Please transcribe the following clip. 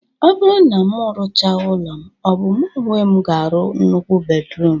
Ọ bụrụ na mụ rụcha ụlọ m, ọ bụ mụ onwe m ga-arụ nnukwu bedruum?